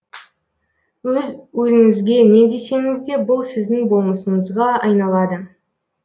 өз өзіңізге не десеңіз де бұл сіздің болмысыңызға айналады